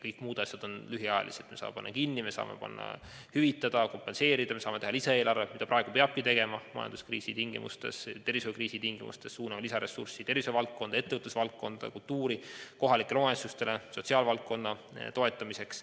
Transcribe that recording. Kõik muud asjad on lühiajalised: me saame panna kinni, me saame hüvitada, me saame teha lisaeelarve, mida praegustes majandus- ja tervishoiukriisi tingimustes peabki tegema, me saame suunata lisaressurssi tervishoiuvaldkonda, ettevõtlusvaldkonda, kultuuri, kohalikele omavalitsustele sotsiaalvaldkonna toetamiseks.